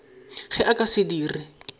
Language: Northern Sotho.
ge a ka se dire